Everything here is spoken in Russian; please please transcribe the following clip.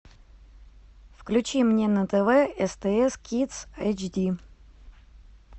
включи мне на тв стс кидс эйч ди